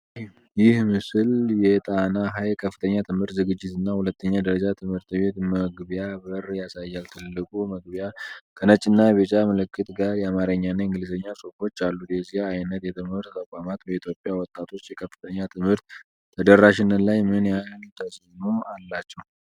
ይህ ምስል የ"ጣና ሐይቅ ከፍተኛ ትምህርት ዝግጅትና ሁለተኛ ደረጃ ትምህርት ቤት"መግቢያ በር ያሳያል። ትልቁ መግቢያ ከነጭና ቢጫ ምልክት ጋር የአማርኛና የእንግሊዝኛ ጽሑፎች አሉት። የዚህ ዓይነት የትምህርት ተቋማት በኢትዮጵያ ወጣቶች የከፍተኛ ትምህርት ተደራሽነት ላይ ምን ያህል ተጽዕኖ አላቸው?